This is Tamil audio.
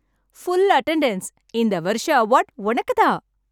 Full attendance. இந்த வருஷ அவார்ட் உனக்குத் தான்!